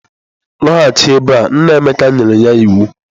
Lọghachi ebe a! Nna Emeka nyere ya iwu.